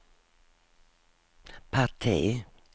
parti